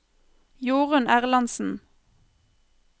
Jorunn Erlandsen